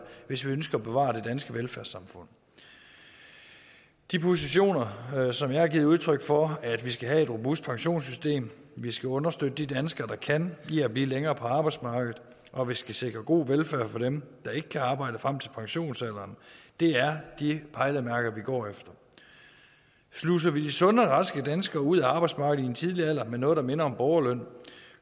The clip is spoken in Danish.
hvis vi ønsker at bevare det danske velfærdssamfund de positioner som jeg har givet udtryk for at vi skal have et robust pensionssystem vi skal understøtte de danskere der kan i at blive længere på arbejdsmarkedet og vi skal sikre god velfærd for dem der ikke kan arbejde frem til pensionsalderen er de pejlemærker vi går efter sluser vi sunde og raske danskere ud af arbejdsmarkedet i en tidlig alder med noget der minder om borgerløn